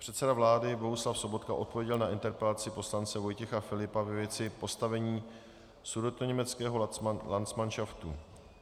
Předseda vlády Bohuslav Sobotka odpověděl na interpelaci poslance Vojtěcha Filipa ve věci postavení sudetoněmeckého landsmanšaftu.